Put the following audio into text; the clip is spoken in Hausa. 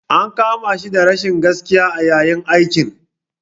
An kama shi da rashin gaskiya a yayin aikin.